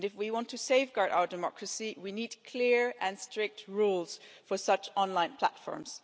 If we want to safeguard our democracy, we need clear and strict rules for such online platforms.